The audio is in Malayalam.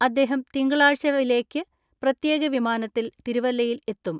അദ്ദേഹം തിങ്കളാഴ്ച പ്രത്യേക വിമാനത്തിൽ തിരുവല്ലയിൽ എത്തും.